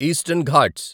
eastern Ghats